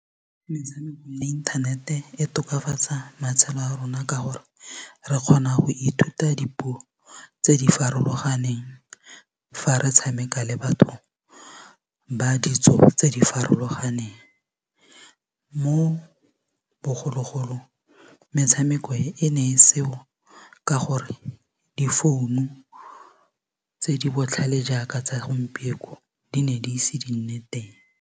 Metshameko ya inthanete e tokafatsa matshelo a rona ka gore re kgona go ithuta dipuo tse di farologaneng fa re tshameka le batho ba ditso tse di farologaneng mo bogologolong metshameko e ene e seo ka gore difounu tse di botlhale jaaka tsa segompieno di ne di ise di nne teng.